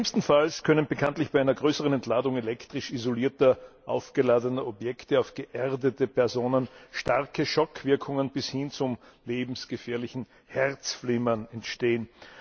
Schlimmstenfalls können bekanntlich bei einer größeren Entladung elektrisch isolierter aufgeladener Objekte über geerdete Personen starke Schockwirkungen bis hin zum lebensgefährlichen Herzflimmern entstehen.